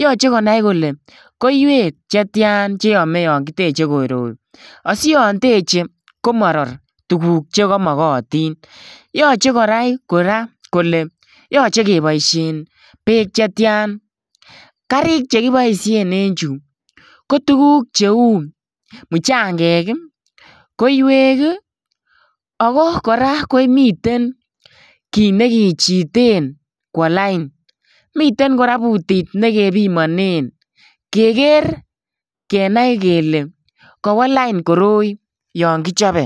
Yoche kole koiwek chetian che yome yon kiteche koroi. Asiyon teche komoror tuguk che komogotin. Yoche kora konai kole yoche koboisien beek chetian. Karik chekiboisien en chu ko tuguk cheu muchangek, koiwek ago kora komiten kit nekichiten kwo lain. Miten kora bootit ne kepimanen. Keger kenai kele kawo lain koroi yon kichope.